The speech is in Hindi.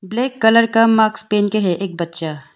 ब्लैक कलर का मास्क पहन के है एक बच्चा।